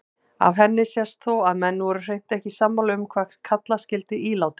Af henni sést þó að menn voru hreint ekki sammála um hvað kalla skyldi ílátin.